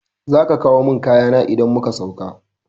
Zaka kawo mun kayana idan muka sauka